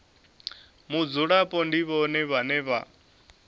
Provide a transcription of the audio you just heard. mudzulapo ndi vhone vhane vha